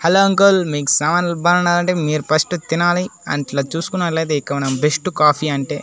Hello uncle మీకు సామాన్లు బాండాలంటే మీరు ఫస్ట్ తినాలి చూసుకున్నట్లయితే ఇక్క మనం బెస్ట్ కాఫీ అంటే.